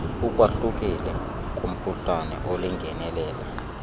ukwahlukile kumkhuhlane olingenelela